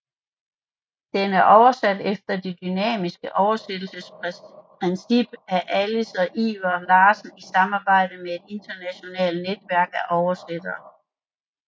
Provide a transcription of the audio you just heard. Den er oversat efter det dynamiske oversættelsesprincip af Alice og Iver Larsen i samarbejde med et internationalt netværk af oversættere